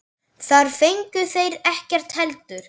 Þar fengu þeir ekkert heldur.